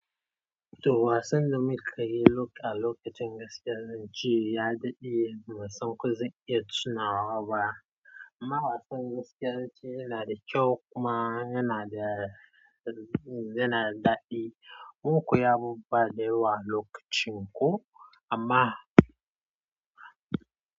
To wasan da muka yi lok-a lokacin gaskiyar zan ce ya daɗe, ba san ko zan iya tunawa ba. Amma wasan gaskiyar zan ce yana da kyau kuma yana da, yana da daɗi. Mun koya abubuwa da yawa lokacin ko amma.